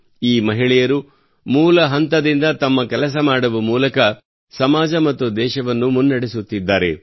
ಈ ಮಹಿಳೆಯರು ಮೂಲ ಹಂತದಿಂದ ತಮ್ಮ ಕೆಲಸ ಮಾಡುವ ಮೂಲಕ ಸಮಾಜ ಮತ್ತು ದೇಶವನ್ನು ಮುನ್ನಡೆಸುತ್ತಿದ್ದಾರೆ